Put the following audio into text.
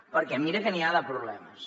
perquè mira que n’hi ha de problemes